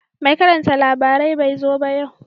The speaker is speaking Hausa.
Mai karanta labarai bai zo ba yau